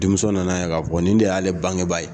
Denmuso nana ye ka fɔ nin de y'ale bangebaa ye .